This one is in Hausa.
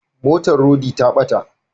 Motar rodi ta bata